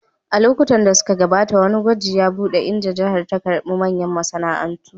A lokuta da suka gabata, wani gwaji ya buɗe, inda jihar ta karɓi manyan masana'antu